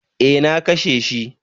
Eh na kashe shi